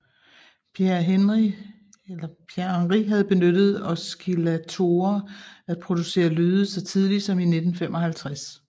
Pierre Henry havde benyttet oscillatorer at producere lyde så tidligt som i 1955